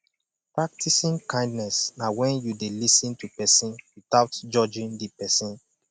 practicing kindness na when you de lis ten to persin without judging di persin